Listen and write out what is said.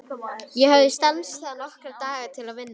Ég hafði stansað nokkra daga til að vinna.